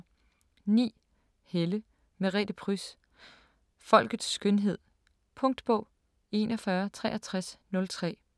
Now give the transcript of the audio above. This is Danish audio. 9. Helle, Merete Pryds: Folkets skønhed Punktbog 416303